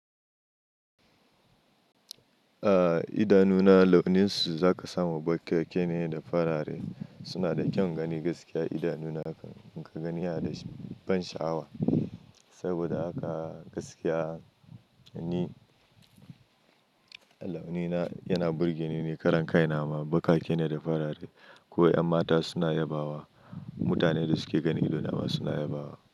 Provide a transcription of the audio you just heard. A'a idanuna launin su za ka samu bakake ne da farare. Su na da kyan gani gaskiya idanuna haka. In ka gani yana da shi ban sha'awa. Saboda haka gaskiya ni launina yana burge ni ni. Karan kai na ma bakake ne da farare. Ko 'yan mata suna yabawa, mutane da su ke ganin idona ma suna yabawa.